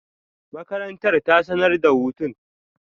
Makarantar ta sanar da hutun.